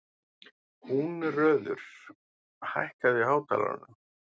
Húnröður, hækkaðu í hátalaranum.